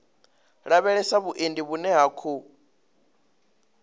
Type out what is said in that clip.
lavhelesa vhuendi vhune ha khou